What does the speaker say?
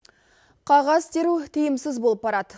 қағаз теру тиімсіз болып барады